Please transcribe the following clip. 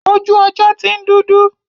Ojú ọjọ́ ti ń dúdú.